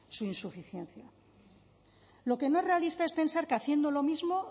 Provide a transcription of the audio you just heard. su insuficiencia lo que no es realista es pensar que haciendo lo mismo